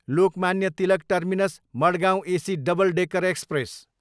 Lokmanya Tilak terminus, Madgaon AC double decker express